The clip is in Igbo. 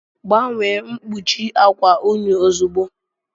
Gbanwee mkpuchi akwa unyi ozugbo